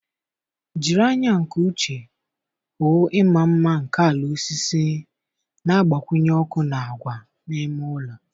Jiri anya nke uche hụ ịma mma nke ala osisi na-agbakwunye ọkụ na agwa n'ime ụlọ